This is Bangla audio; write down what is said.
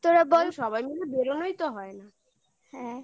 তোরা বল সবাই মিলে বেরোনোই তো হয় না